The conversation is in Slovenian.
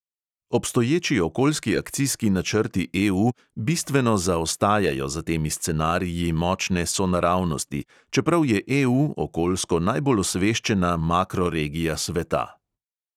Obstoječi okoljski akcijski načrti EU bistveno zaostajajo za temi scenariji močne sonaravnosti, čeprav je EU okoljsko najbolj osveščena makroregija sveta.